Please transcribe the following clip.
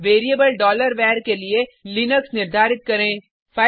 अब variable var के लिए लिनक्स निर्धारित करें